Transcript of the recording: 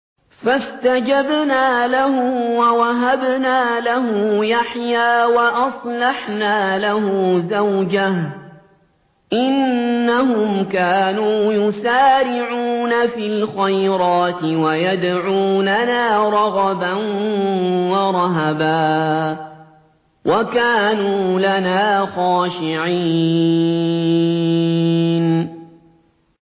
فَاسْتَجَبْنَا لَهُ وَوَهَبْنَا لَهُ يَحْيَىٰ وَأَصْلَحْنَا لَهُ زَوْجَهُ ۚ إِنَّهُمْ كَانُوا يُسَارِعُونَ فِي الْخَيْرَاتِ وَيَدْعُونَنَا رَغَبًا وَرَهَبًا ۖ وَكَانُوا لَنَا خَاشِعِينَ